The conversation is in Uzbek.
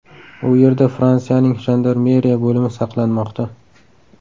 U yerda Fransiyaning jandarmeriya bo‘limi saqlanmoqda.